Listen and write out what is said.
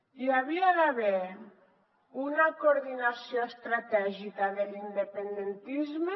hi havia d’haver una coordinació estratègica de l’independentisme